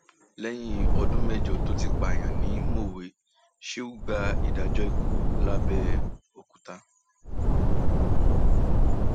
lẹyìn ọdún um mẹjọ tó ti pààyàn ni mọwé sheu gbàdájọ ikú um lápbèòkúta